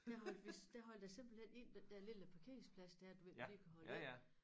Der holdt vi der holdt jeg simpelthen ind den der lille parkeringsplads dér du ved lige kan holde ind